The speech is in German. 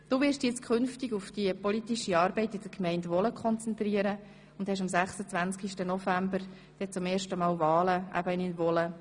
Du wirst dich künftig auf die politische Arbeit in der Gemeinde Wohlen am 26. November zum ersten Mal Wahlen in Wohlen.